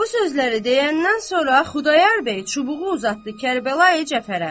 Bu sözləri deyəndən sonra Xudayar bəy çubuğu uzatdı Kərbəlayi Cəfərə.